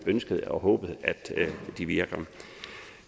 ønsket og håbet at de virker